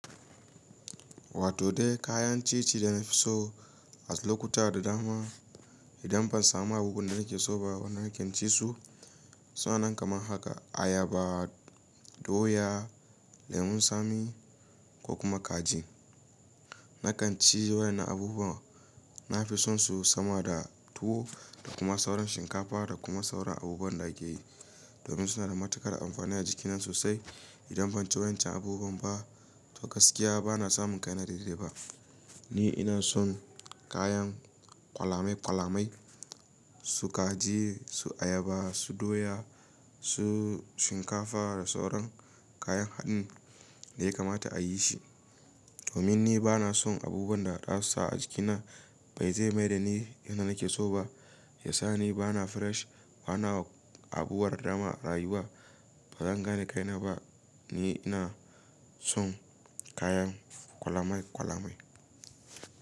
Wato dai kayan ci ci da na fi so a lokuta da dama idan ban samu abubuwan da nake so ba wanda nake ci su suna nan kaman haka ayaba, doya, lemun tsami ko kuma kaji. Nakan ci waƴannan na abubuwa nafi son su sama da tuwo da kuma sauran shinkafa da kuma sauran abubuwan da ake yi domin suna da matukar amfani a jikina sosai. Idan ban ci wancan abubuwan ba to gaskiya bana samun kaina daidai ba. Ni ina son kayan ƙwalamai ƙwalamai su kaji, su ayaba, su doya, su shinkafa da sauran kayan haɗin da ya kamata a yi shi domin ni bana son abubuwan da za su sa jikina bai zai maida ni yadda nake so ba. Yasa ni bana fresh bana abubuwa da dama a rayuwa bazan gane kaina ba. Ni ina son kayan kwalamai kwalamai.